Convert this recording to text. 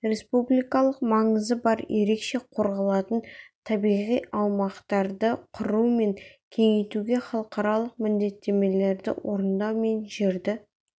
республикалық маңызы бар ерекше қорғалатын табиғи аумақтарды құру мен кеңейтуге халықаралық міндеттемелерді орындау мен жерді